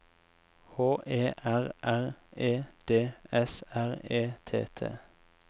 H E R R E D S R E T T